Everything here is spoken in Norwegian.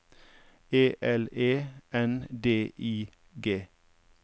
E L E N D I G